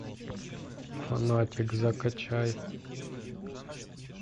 фанатик закачай